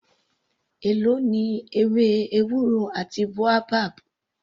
Èló ni ewé ewúro àti boabab.